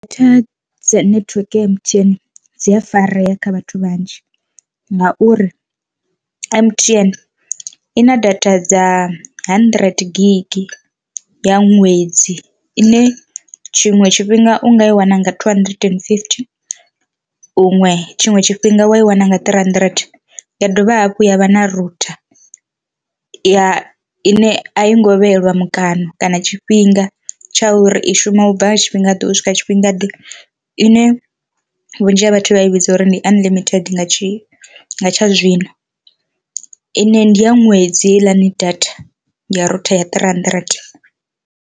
Data dza netiweke ya M_T_N dzi a farea kha vhathu vhanzhi ngauri M_T_N ina data dza hundred gig ya ṅwedzi ine tshiṅwe tshifhinga u nga i wana nga two hundred and fifty huṅwe tshiṅwe tshifhinga wa i wana nga three hundred. Ya dovha hafhu ya vha na rutha ya ine a i ngo vheyelwa mukano kana tshifhinga tsha uri i shuma u bva nga tshifhinga ḓe tshifhingaḓe ine vhunzhi ha vhathu vha i vhidza uri ndi unlimited nga tshi nga tsha zwino, ine ndi ya ṅwedzi heiḽani data ya rutha ya three hundred.